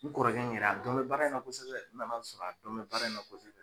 N kɔrɔkɛ in yɛrɛ a dɔnbɛ baara in na kosɛbɛ, n nan'a sɔrɔ a dɔnbɛ baara in na kosɛbɛ.